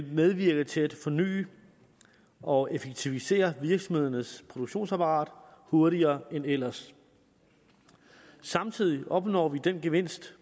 medvirke til at forny og effektivisere virksomhedernes produktionsapparat hurtigere end ellers samtidig opnår vi den gevinst